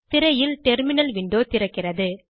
திரையில் terminal window தோன்றுகிறது